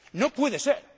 ¡No puede ser!